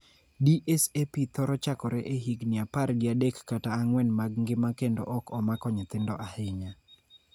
DSAP thoro chakore e higni apar gi adek kata ang�wen mag ngima kendo ok omako nyithindo ahinya.